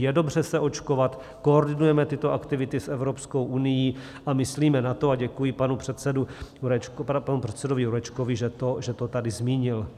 Je dobře se očkovat, koordinujeme tyto aktivity s Evropskou unií a myslíme na to, a děkuji panu předsedovi Jurečkovi, že to tady zmínil.